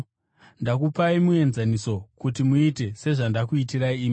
Ndakupai muenzaniso kuti muite sezvandakuitirai imi.